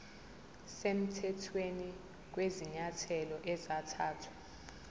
semthethweni kwezinyathelo ezathathwa